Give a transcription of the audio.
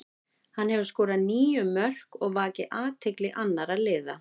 Hann hefur skorað níu mörk og vakið athygli annara liða.